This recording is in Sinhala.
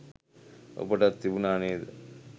ඔබටත් තිබුණා නේද